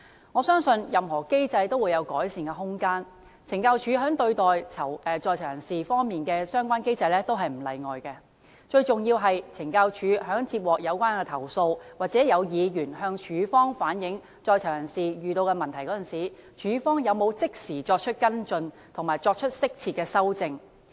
我相信任何機制均會有改善的空間，懲教署在對待在囚人士方面的相關機制也不例外，最重要是懲教署在接獲有關投訴，或有議員向署方反映在囚人士遇到的問題時，署方有否即時作出跟進及適切的修正。